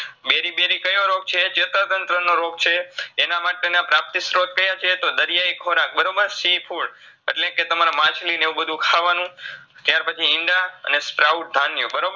berybery કયો રોગ છે ચેતાતંત્રનો રોગ છે એનામાટેના પ્રાપ્તિસ્ત્રોત કયા છે તો દરિયાઈ ખોરાક બરોબર seafood એટલે કે તમારા માછલી ને એવુંબધું ખાવાનું ત્યારપછી ઈંડા અને sprout ધાન્ય બરોબર